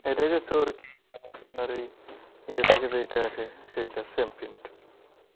ইয়ে থেকে যেইটা আসে সেইটা same print